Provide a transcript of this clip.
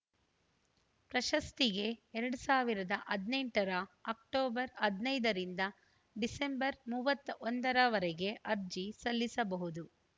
ಪ್ರಶಸ್ತಿಗೆ ಎರಡ್ ಸಾವಿರದ ಹದಿನೆಂಟು ರ ಅಕ್ಟೋಬರ್ ಹದಿನೈದ ರಿಂದ ಡಿಸೆಂಬರ್‌ ಮೂವತ್ತ್ ಒಂದ ರವರೆಗೆ ಅರ್ಜಿ ಸಲ್ಲಿಸಬಹುದು